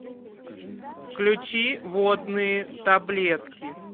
включи водные таблетки